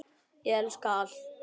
Ég elska allt.